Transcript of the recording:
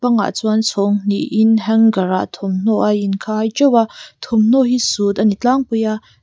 kawngah chuan chhawng hnihin hanger ah thawmhnaw a inkhai teuh a thawmhnaw hi suit ani tlangpui a.